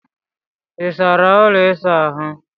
Ị sara ụlọ ịsa ahụ?